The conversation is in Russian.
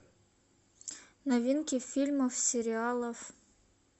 новинки фильмов сериалов